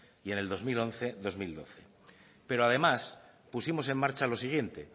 y en el dos mil once dos mil doce pero además pusimos en marcha lo siguiente